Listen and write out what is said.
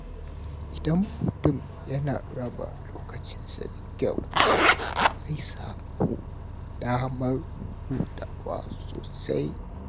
Idan mutum ya raba lokacinsa da kyau, zai samu damar hutawa sosai.